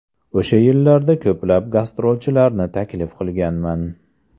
O‘sha yillarda ko‘plab gastrolchilarni taklif qilganman.